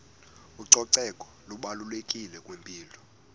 ucoceko lubalulekile kwimpilo